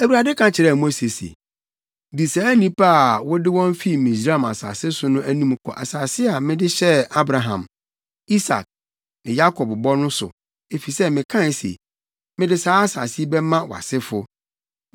Awurade ka kyerɛɛ Mose se, “Di saa nnipa a wode wɔn fi Misraim asase so no anim kɔ asase a mede hyɛɛ Abraham, Isak ne Yakob bɔ no so, efisɛ mekae se, ‘Mede saa asase yi bɛma wʼasefo.’